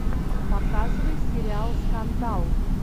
показывай сериал скандал